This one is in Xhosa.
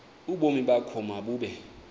ubomi bakho mabube